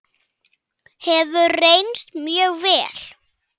Hefur reynst mjög vel.